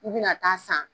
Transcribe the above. U bɛna taa san